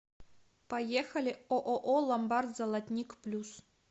поехали ооо ломбард золотник плюс